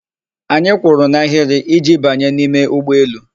Anyị kwụrụ n'ahịrị iji banye n'ime ụgbọelu.